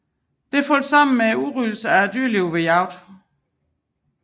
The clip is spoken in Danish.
Det faldt sammen med udryddelse af dyrelivet ved jagt